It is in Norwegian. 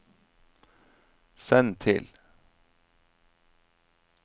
send til